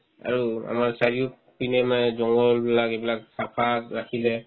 আৰু আমাৰ চাৰিওপিনে নাই জংগল বিলাক এইবিলাক চাফা ৰাখিলে